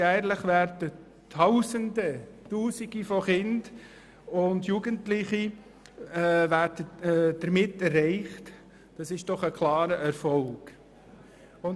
Jährlich werden Tausende von Kindern und Jugendlichen damit erreicht, was doch ein klarer Erfolg ist.